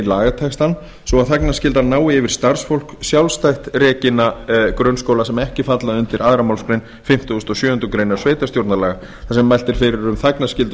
lagatextann svo að þagnarskylda nái yfir starfsfólk sjálfstætt rekinna grunnskóla sem ekki falla undir annarri málsgrein fimmtugustu og sjöundu grein sveitarstjórnarlaga þar sem mælt er fyrir um þagnarskyldu